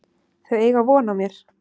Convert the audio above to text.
Þau eiga von á mér.